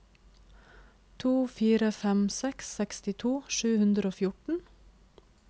to fire fem seks sekstito sju hundre og fjorten